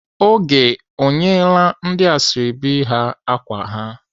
Oge ọ nyeela ndị ashọbị ya ákwà ha?